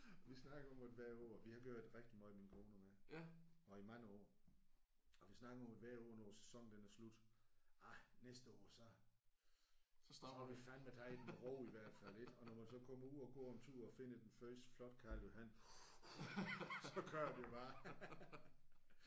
Vi snakker om det hvert år. Vi har gjort det rigtig meget min kone og mig. Og i mange år. Og vi snakker om det hvert år når sæsonen den er slut ej næste år så så må vi fandeme tage den lidt med ro i hvert fald ik? Og når man så kommer ud og går en tur og finder den første flotte karljohan så kører vi bare